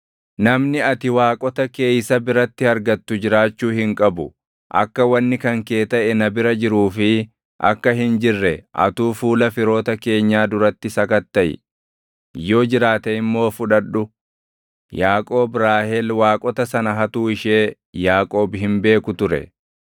Namni ati waaqota kee isa biratti argattu jiraachuu hin qabu. Akka wanni kan kee taʼe na bira jiruu fi akka hin jirre atuu fuula firoota keenyaa duratti sakattaʼi; yoo jiraate immoo fudhadhu.” Yaaqoob Raahel waaqota sana hattuu ishee Yaaqoob hin beeku ture.